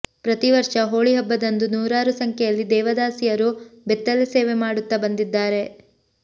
ಪ್ರತಿವರ್ಷ ಹೋಳಿ ಹಬ್ಬದಂದು ನೂರಾರು ಸಂಖ್ಯೆಯಲ್ಲಿ ದೇವದಾಸಿಯರು ಬೆತ್ತಲೆ ಸೇವೆ ಮಾಡುತ್ತಾ ಬಂದಿದ್ದಾರೆ